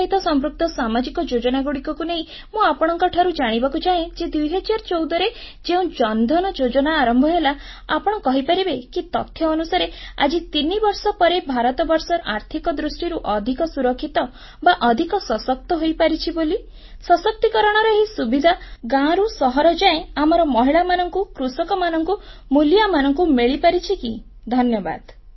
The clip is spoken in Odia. ଏହା ସହିତ ସମ୍ପୃକ୍ତ ସାମାଜିକ ଯୋଜନାଗୁଡ଼ିକୁ ନେଇ ମୁଁ ଆପଣଙ୍କଠାରୁ ଜାଣିବାକୁ ଚାହେଁ ଯେ 2014ରେ ଯେଉଁ ଜନଧନ ଯୋଜନା ଆରମ୍ଭ ହେଲା ଆପଣ କହିପାରିବେ କି ତଥ୍ୟ ଅନୁସାରେ ଆଜି 3 ବର୍ଷ ପରେ ଭାରତବର୍ଷ ଆର୍ଥିକ ଦୃଷ୍ଟିରୁ ଅଧିକ ସୁରକ୍ଷିତ ବା ଅଧିକ ସଶକ୍ତ ହୋଇପାରିଛି ବୋଲି ସଶକ୍ତିକରଣର ଏହି ସୁବିଧା ଗାଁରୁ ସହର ଯାଏ ଆମର ମହିଳାମାନଙ୍କୁ କୃଷକମାନଙ୍କୁ ମୁଲିଆମାନଙ୍କୁ ମିଳିପାରିଛି କି ଧନ୍ୟବାଦ